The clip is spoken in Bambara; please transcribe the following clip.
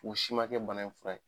U si makɛ bana in fura ye.